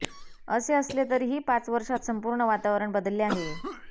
असे असले तरीही पाच वर्षात संपूर्ण वातावरण बदलले आहे